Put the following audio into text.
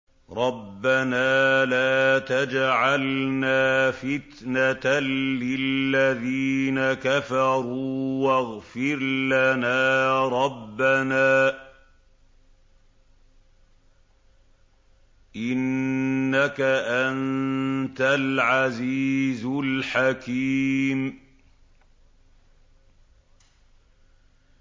رَبَّنَا لَا تَجْعَلْنَا فِتْنَةً لِّلَّذِينَ كَفَرُوا وَاغْفِرْ لَنَا رَبَّنَا ۖ إِنَّكَ أَنتَ الْعَزِيزُ الْحَكِيمُ